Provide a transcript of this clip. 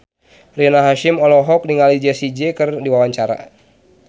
Rina Hasyim olohok ningali Jessie J keur diwawancara